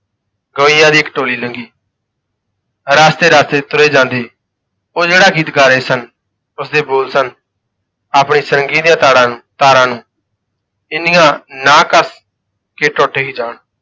ਗਵੱਈਆ ਦੀ ਇੱਕ ਟੋਲੀ ਲੰਘੀ ਰਸਤੇ ਰਸਤੇ ਤੁਰੇ ਜਾਂਦੇ ਉਹ ਜਿਹੜਾ ਗੀਤ ਗਾ ਰਹੇ ਸਨ ਉਸਦੇ ਬੋਲ ਸਨ ਆਪਣੇ ਸਾਰੰਗੀ ਦੀਆਂ ਤਾੜਾਂ ਤਾਰਾਂ ਨੂੰ ਇੰਨੀਆਾਂਂ ਨਾ ਕੱਸ ਕਿ ਟੁੱਟ ਹੀ ਜਾਣ,